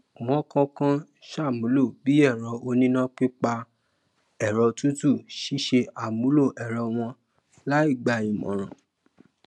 wọn kàn kàn ṣàmúlò bí èrọ oníná pípa ẹrọ tútù ṣíṣe àmúlò èrọ wọn láì gbà ìmòràn